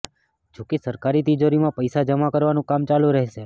જોકે સરકારી તિજોરીમાં પૈસા જમા કરવાનું કામ ચાલુ રહેશે